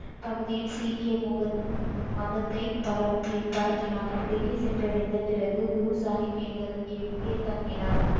பகுதியில் சீக்கியர் முகத் உம் மதத்தை பரப்பியும் பரப்பினார் டெல்லி சென்றடைந்த பிறகு குரு சாஹிப் எங்கள் எங்கே தங்கினார்?